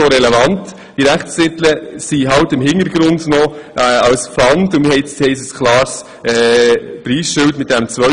Eigentlich sind diese Rechtstitel gar nicht mehr so relevant, sie stehen noch als Pfand im Hintergrund.